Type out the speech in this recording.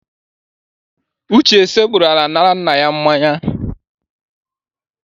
Uche sekpuuru ala nara nna ya mmanya.